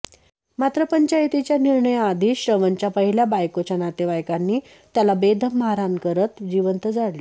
मात्र पंचायतीच्या निर्णयाआधीच श्रवणच्या पहिल्या बायकोच्या नातेवाईकांनी त्याला बेदम मारहाण करत जिवंत जाळले